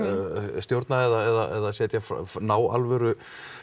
stjórna eða ná alvöru